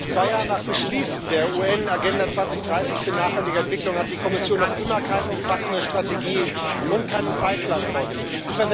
Zwei Jahre nach Beschließen der UN Agenda 2030 für nachhaltige Entwicklung hat die Kommission noch immer keine umfassende Strategie und keinen Zeitplan vorgelegt.